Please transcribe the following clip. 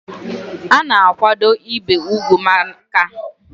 Ana akwado ibi ùgwù màkà umuntorobia màkà na ọ na enyere aka i belata ọrịa ana ebute na mmekọ.